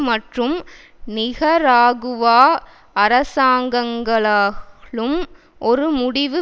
மற்றும் நிகராகுவா அரசாங்கங்களாலும் ஒரு முடிவு